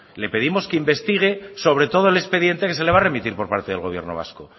le pedimos que investigue sobre todo el expediente que se le va a remitir por parte del gobierno vasco